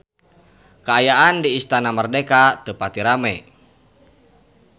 Kaayaan di Istana Merdeka teu pati rame